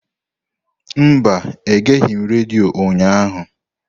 Mba, egeghị m redio ụnyahụ.